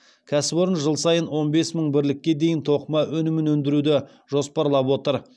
кәсіпорын жыл сайын он бес мың бірлікке дейін тоқыма өнімін өндіруді жоспарлап отыр